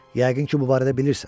Yəqin ki, bu barədə bilirsən.